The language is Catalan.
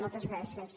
moltes gràcies